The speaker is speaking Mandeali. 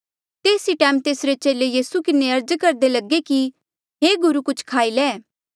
तेस ई टैम तेसरे चेले यीसू किन्हें अर्ज करदे लगे कि हे गुरु कुछ खाई ले